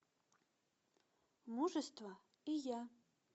мужество и я